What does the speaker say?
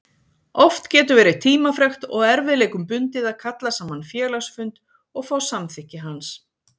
Oft getur verið tímafrekt og erfiðleikum bundið að kalla saman félagsfund og fá samþykki hans.